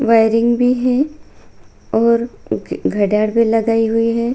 Wuthering भी है और भी लगाई हुई है।